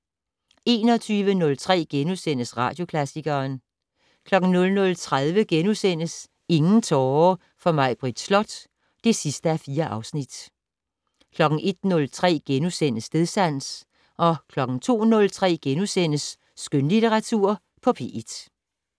21:03: Radioklassikeren * 00:30: Ingen tårer for Maibritt Slot (4:4)* 01:03: Stedsans * 02:03: Skønlitteratur på P1 *